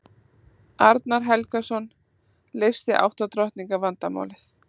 arnar helgason leysti átta drottninga vandamálið